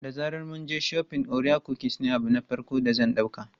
Da zaran mun je shafin, orea kukis ne abu na farko da zan ɗauka.